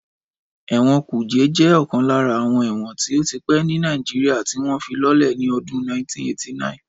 Ẹ̀wọ̀n kùjé jẹ́ ọ̀kan lára àwọn ẹ̀wọ̀n tó ti pẹ́ ní Nàìjíríyà tí wọ́n fi lọ́lẹ̀ ní ọdún 1989